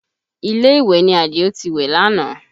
Ilé ìwẹ̀ ni Àdìó ti wẹ̀ lánàá